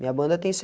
Minha banda tem